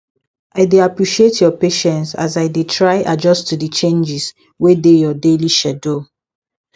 i dey appreciate your patience as i dey try adjust to di changes wey dey your daily schedule